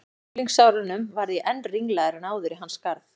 unglingsárunum varð ég enn ringlaðri en áður í hans garð.